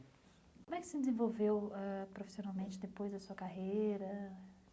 Como é que você se desenvolveu ãh profissionalmente depois da sua carreira?